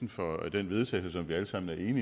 nødt til det